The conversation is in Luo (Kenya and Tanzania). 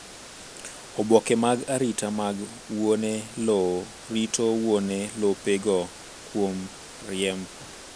Oboke mag arita mag wuone lowo rito wuone lope go kuom riemb.